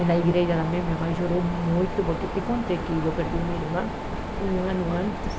E na igreja também, minha mãe chorou muito, porque te contei que eu perdi uma irmã um ano antes.